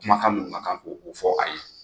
Kuma kan minnu ka kan ko fɔ a ye.